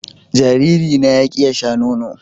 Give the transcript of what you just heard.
Jariri na ya ƙi ya Sha nono.